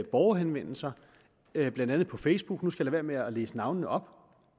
borgerhenvendelser blandt andet på facebook nu skal være med at læse navnene op